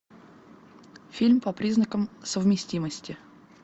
фильм по признакам совместимости